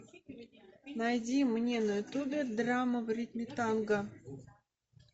найди мне на ютубе драма в ритме танго